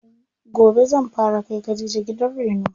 Gobe zan fara kai khadija gidan reno.